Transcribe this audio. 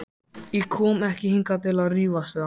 Ég kom ekki hingað til að rífast við hann.